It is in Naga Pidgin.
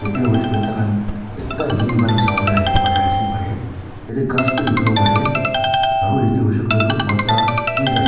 yate hoishe koile taikhan ekta view khan sabole ahi bole pari asey pare yate ghas bhi dekhibo parey aro yate hoishe koile toh mota bhi--